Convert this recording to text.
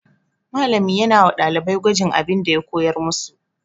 Malami yana wa ɗalibai gwajin abin da ya koyar musu.